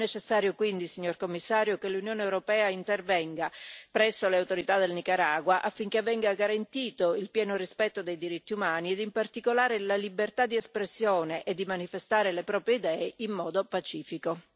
È necessario, quindi, signor Commissario, che l'Unione europea intervenga presso le autorità del Nicaragua, affinché venga garantito il pieno rispetto dei diritti umani ed in particolare la libertà di espressione e di manifestare le proprie idee in modo pacifico.